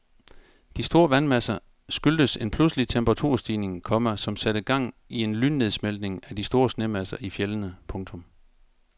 De store vandmasser skyldtes en pludselig temperaturstigning, komma som satte gang i en lynnedsmeltning af de store snemasser i fjeldene. punktum